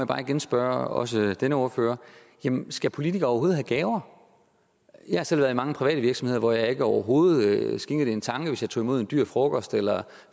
bare igen spørge også denne ordfører jamen skal politikere overhovedet have gaver jeg har selv været i mange private virksomheder hvor jeg overhovedet ikke skænkede det en tanke hvis jeg tog imod en dyr frokost eller